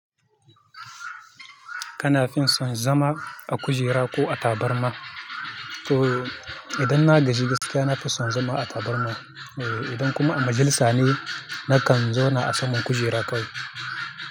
Kana fin son zama a kujera ko a tabarma? So idan na gaji gaskiya na fi son zama a tabarma eh, idan kuma a majelisa ne nakan zauna a saman kujera kawai.